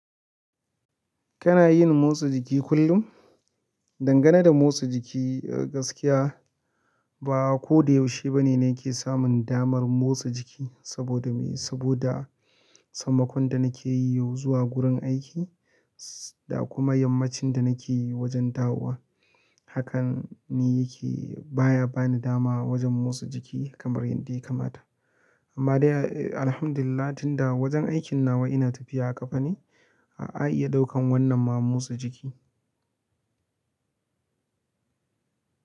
Kana yin motsa jiki kullum? Dangane da motsa jiki gaskiya ba ko da yaushe ba ne nake samun damar motsa jiki saboda me saboda sammakon da na ke yi yau zuwa gurin aiki da kuma yammacin da na ke wajen dawowa. Hakan ni yake baya ba ni dama wajen motsa jiki kamar yadda ya kamata. Amma dai alhamdulillah tunda wajen aikin nawa ina tafiya a ƙafa ne, a'a iya ɗaukan wannan ma motsa jiki.